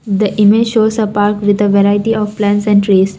the image shows apart with a variety of plants and trees.